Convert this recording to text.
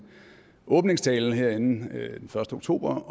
åbningstale herinde den første oktober